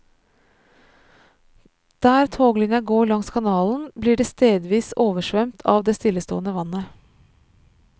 Der toglinja går langs kanalen blir det stedvis oversvømt av det stillestående vannet.